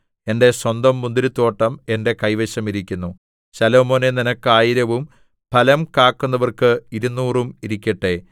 എന്റെ സ്വന്തം മുന്തിരിത്തോട്ടം എന്റെ കൈവശം ഇരിക്കുന്നു ശലോമോനേ നിനക്ക് ആയിരവും ഫലം കാക്കുന്നവർക്ക് ഇരുനൂറും ഇരിക്കട്ടെ